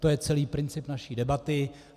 To je celý princip naší debaty.